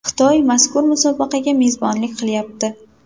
Xitoy mazkur musobaqaga mezbonlik qilyapti.